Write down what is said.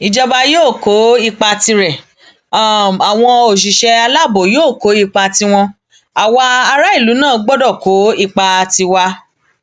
ìjọba yóò kó ipa tirẹ àwọn òṣìṣẹ aláàbò yóò kó ipa tiwọn àwa aráàlú náà gbọdọ kó ipa tiwa